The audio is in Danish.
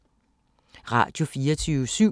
Radio24syv